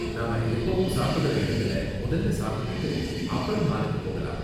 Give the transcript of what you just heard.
நாம எப்பவும் சாப்பிடுற இடத்துல முதல்ல சாப்பிட்டுட்டு அப்பறம் மாலுக்குப் போகலாம்.